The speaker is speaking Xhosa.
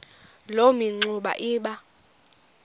loo mingxuma iba